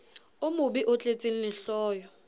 o mobe o tletseng lehloyo